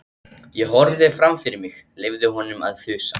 Ég horfði fram fyrir mig, leyfði honum að þusa.